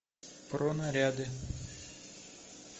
про наряды